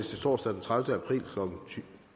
torsdag den tredivete april